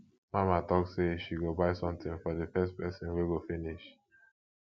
mama talk say she go buy something for the first person wey go finish